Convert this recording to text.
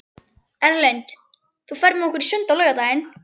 Erlinda, ferð þú með okkur á laugardaginn?